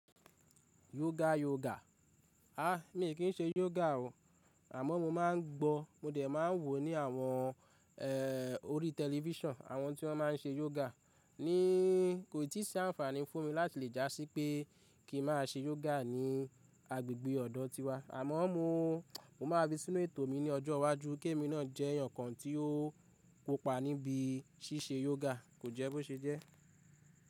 Yoga yoga. A mi kì í ṣe yoga o. Àmọ́ mo máa ń gbọ, mo dẹ̀ máa ń wò ní àwọn eh orí television àwọn tí wọ́n má n ṣe yoga. Ní kò ì tí sí àǹfààní fún mi láti lè já sí pé kí ń má a ṣe yoga ní agbègbè ọ̀dọ̀ tiwa. Àmọ́ mo, mo máa fí sínú ètò mi ní ọjọ́ iwájú kí èmi náà jẹ́ èèyàn kan tí ó kópa níbi ṣíṣe yoga. Kò jẹ́ bó ṣe jẹ́.